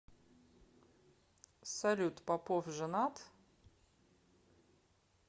салют попов женат